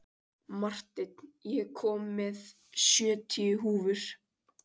Marteinn, ég kom með sjötíu húfur!